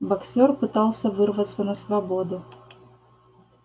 боксёр пытался вырваться на свободу